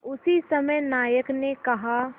उसी समय नायक ने कहा